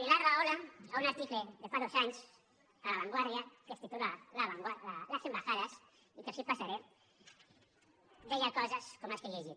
pilar rahola en un article de fa dos anys a la vanguardia que es titula las embajadas i que els passaré deia coses com les que he llegit